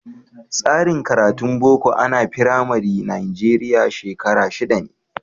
Tsarin karatun Boko a na Firamari Najeriya shekara shida ne.